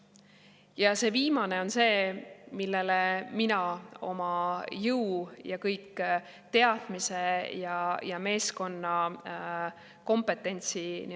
Ja see viimane on see, millele mina oma jõu ja kõik teadmised ja meeskonna kompetentsi fokuseerin.